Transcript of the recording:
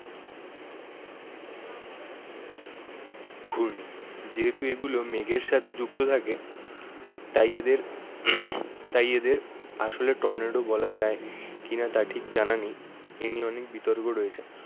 ঘূর্ণি। যেহেতু এগুলো মেঘের সাথে যুক্ত থাকে তাই এদের তাই এদের আসলে টর্নেডো বলা যায় কি না তা ঠিক জানা নেই। এই নিয়ে অনেক বিতর্ক রয়েছে।